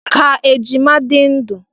Ka ejima di ndu!